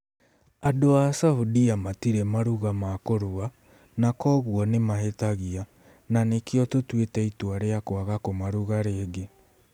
Andũ a Saudia matirĩ maruga ma kũrua, na kwoguo nĩ mahĩtagia, na nĩkĩo tũtuĩte itua rĩa kwaga kũmaruga rĩngĩ.